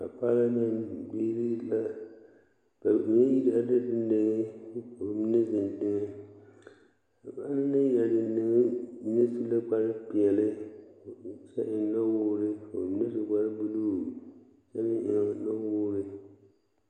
are dendeŋɛ ka ba mine zeŋ a ba na naŋ are dendeŋɛ su la kpare peɛle kyɛ eŋ nɔwoore ka ba mine su kpare buluu kyɛ meŋ eŋ nɔwoore.